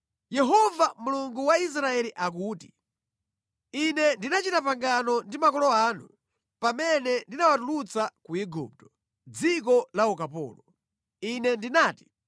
“Yehova Mulungu wa Israeli akuti: Ine ndinachita pangano ndi makolo anu pamene ndinawatulutsa ku Igupto, mʼdziko la ukapolo. Ine ndinati,